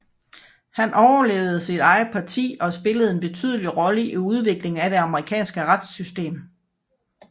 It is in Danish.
Han overlevede sit eget parti og spillede en betydelig rolle i udviklingen af det amerikanske retssystem